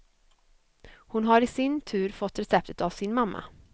Hon har i sin tur fått receptet av sin mamma.